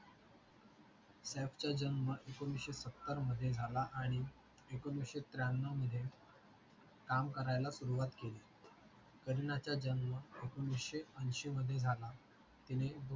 सैफचा जन्म एकोणविशे सत्तर मध्ये झाला आणि एकोणविशे त्र्यानो मध्ये काम करायला सुरुवात केली करीनाचा जन्म एकोणविशे अंशी मध्ये झाला तिने